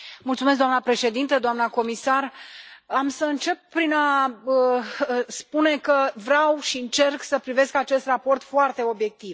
Doamnă președintă, doamnă comisar, am să încep prin a spune că vreau și încerc să privesc acest raport foarte obiectiv.